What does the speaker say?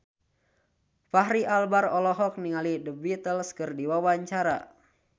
Fachri Albar olohok ningali The Beatles keur diwawancara